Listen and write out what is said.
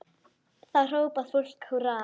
Þá hrópar fólk húrra.